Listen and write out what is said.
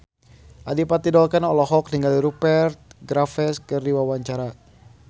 Adipati Dolken olohok ningali Rupert Graves keur diwawancara